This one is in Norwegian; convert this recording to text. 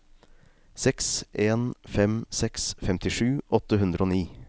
seks en fem seks femtisju åtte hundre og ni